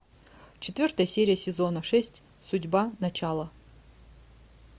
четвертая серия сезона шесть судьба начало